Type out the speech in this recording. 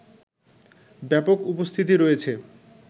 ব্যাপক উপস্থিতি রয়েছে